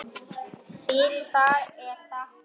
Fyrir það er þakkað.